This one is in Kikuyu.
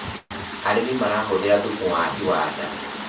arĩmi marahuthira thumu wa iwanda